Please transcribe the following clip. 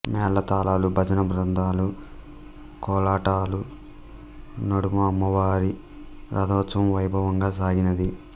మేళతాళాలు భజన బృందాలు కోలాటాల నడుమ అమ్మవారి రథోత్సవం వైభవంగా సాగినది